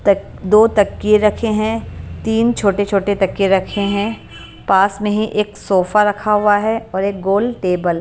तक दो तकिए रखे हैं तीन छोटे-छोटे तक्के रखे हैं पास में ही एक सोफा रखा हुआ है और एक गोल टेबल .